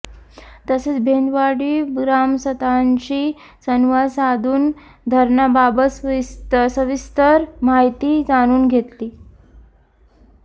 तसेच भेंदवाडी ग्रामस्थांशी संवाद साधून धरणाबाबत सविस्तर माहिती जाणून घेतली